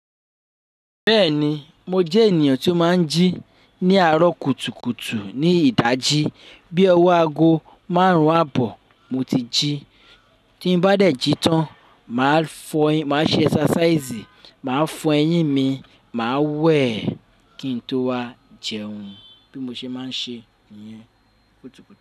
Bẹ́ẹ̀ni, mo jẹ́ ènìyàn tí ó máa ń jí ní àárọ̀ kùtùkùtù ní ìdájí bí ọwọ́ aago márùn-ún àbọ̀ mo ti jí. Tí n bá dẹ̀ jí tán, màá fọyín, màá ṣe exercise, màá fọ eyín mi, màá wẹ̀ kí n tó wá jẹun bí mo ṣe máa ń ṣe niyẹn kùtùkùtù.